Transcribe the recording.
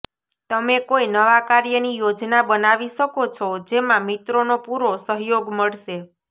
તમે કોઈ નવા કાર્યની યોજના બનાવી શકો છો જેમાં મિત્રોનો પૂરો સહયોગ મળશે